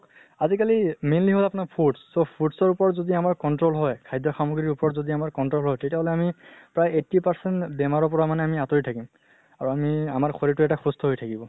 আজি কালি mainly হয় আপোনাৰ fruits, so fruits ৰ উপৰত যদি আমাৰ control হয়, খাদ্য় সাম্গ্ৰিৰ উপৰত যদি আমাৰ control হয়, তেতিয়া হলে আমি প্ৰায় eighty percent বেমাৰৰ পৰা আমি আঁতৰি থাকিম। আৰু আমি আমাৰ শৰীৰৰ্টো এটা সুস্থ হৈ থাকিব।